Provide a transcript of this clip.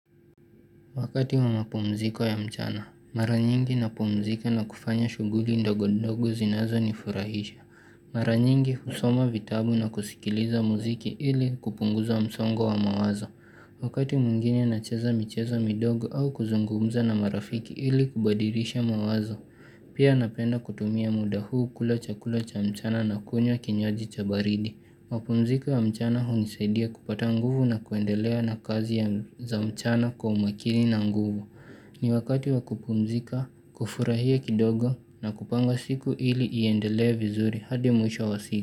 Wakati wa mapumziko ya mchana, mara nyingi na pumzika na kufanya shughuli ndogo ndogo zinazo nifurahisha. Mara nyingi husoma vitabu na kusikiliza muziki ili kupunguza msongo wa mawazo. Wakati mwingine na cheza michezo midogo au kuzungumza na marafiki ili kubadilisha mawazo. Pia napenda kutumia muda huu kula chakula cha mchana na kunywa kinywaji chabaridi. Mapumziko ya mchana hu nisaidia kupata nguvu na kuendelea na kazi ya za mchana kwa umakini na nguvu ni wakati wakupumzika, kufurahia kidogo na kupanga siku ili iendelea vizuri hadi mwisho wa siku.